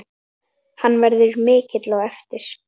Hann verður mikill á eftir.